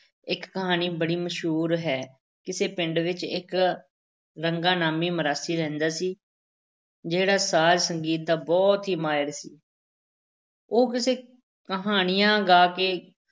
ਇੱਕ ਕਹਾਣੀ ਬੜੀ ਮਸ਼ਹੂਰ ਹੈ, ਕਿਸੇ ਪਿੰਡ ਵਿੱਚ ਇੱਕ ਰੰਗਾ ਨਾਮੀ ਮਰਾਸੀ ਰਹਿੰਦਾ ਸੀ, ਜਿਹੜਾ ਸਾਜ਼-ਸੰਗੀਤ ਦਾ ਬਹੁਤ ਹੀ ਮਾਹਰ ਸੀ ਉਹ ਕਿੱਸੇ ਕਹਾਣੀਆਂ ਗਾ ਕੇ